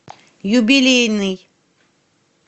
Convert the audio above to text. юбилейный